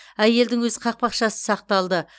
әйелдің өз қақпақшасы сақталды